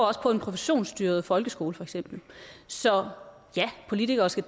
også på en professionsstyret folkeskole så ja politikere skal